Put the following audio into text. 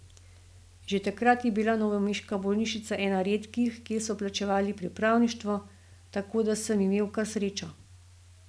Že takrat je bila novomeška bolnišnica ena redkih, kjer so plačevali pripravništvo, tako da sem imel kar srečo.